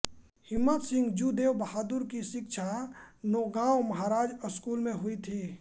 हिम्मत सिंह जू देव बहादुर की शिक्षा नौगांव महाराजा स्कूल में हुई थी